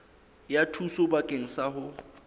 ya thuso bakeng sa ho